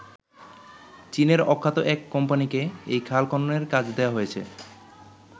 চীনের অখ্যাত এক কোম্পানিকে এই খাল খননের কাজ দেওয়া হয়েছে।